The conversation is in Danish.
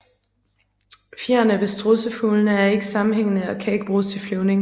Fjerene ved strudsefuglene er ikke sammenhængende og kan ikke bruges til flyvning